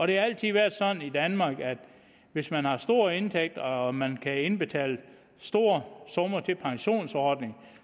det har altid været sådan i danmark at hvis man har store indtægter og man kan indbetale store summer til pensionsordninger